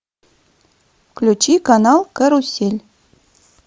включи канал карусель